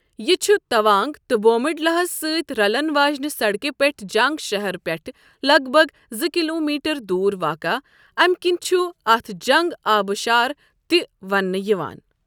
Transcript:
یہِ چھ تَوانٛگ تہٕ بومڈِلاہس سۭتۍ رلن واجنہِ سڑکہِ پٮ۪ٹھٕ جنٛگ شہرٕ پٮ۪ٹھٕ لگ بگ زٕ کِلومیٖٹر دوُر واقع، اَمہِ کِنہِ چُھ اَتھ جنٛگ آبہٕ شار تہِ ونٛنہٕ یِوان۔